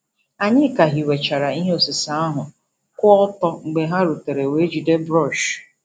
Anyị ka hiwechara ihe osise ahụ kwụ ọtọ mgbe ha rutere wee jide brọọsh.